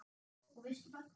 Og veistu bara hvað